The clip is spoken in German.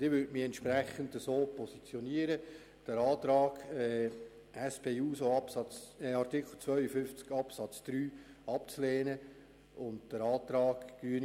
Und ich würde entsprechend den Antrag SP-JUSO-PSA zu Artikel 52 Absatz 3 sowie den Antrag der Grünen ablehnen.